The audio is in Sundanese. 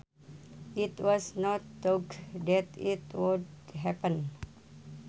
It was not thought that it would happen